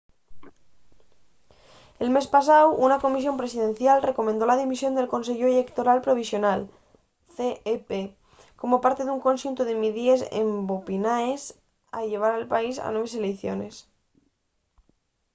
el mes pasáu una comisión presidencial recomendó la dimisión del conseyu ellectoral provisional cep como parte d’un conxuntu de midíes empobinaes a llevar al país a nueves eleiciones